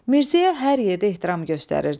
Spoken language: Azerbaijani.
Mirzəyə hər yerdə hörmət göstərirdilər.